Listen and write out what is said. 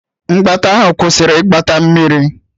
Mgbata ahụ kwụsịrị iweta Mmiri.